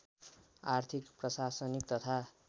आर्थिक प्रशासनिक तथा